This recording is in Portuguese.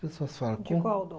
Pessoas falam. De qual dom?